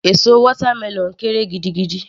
Èso watermelon kéré gidigidi